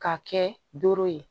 Ka kɛ doro ye